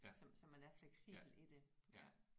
Så så man er fleksibel i det ja